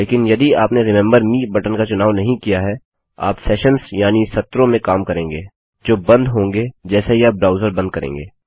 लेकिन यदि आपने रिमेंबर मे बटन का चुनाव नहीं किया है आप सेशन्स यानि सत्रों में काम करेंगे जो बंद होंगे जैसे ही आप ब्राउज़र बंद करेंगे